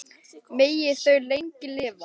Megi þau lengi lifa.